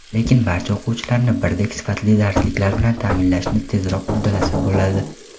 lekin barcha o‘quvchilarni birdek sifatli darsliklar bilan taʼminlashni tezroq uddalasa bo‘ladi.